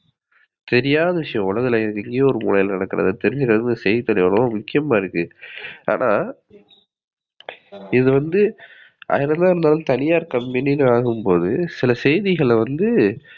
தெரியாத விஷயம். உலகத்துல எங்கையோ ஒரு மூலையில நடக்குறத தெரிஞ்சுக்குறதுக்கு செய்தித்தாள் எவளோ முக்கியமா இருக்கு. ஆனா இதுவந்து ஆயிரம்தான் இருந்தாலும் தனியார் கம்பெனினு ஆகும்போது சில செய்திகள வந்து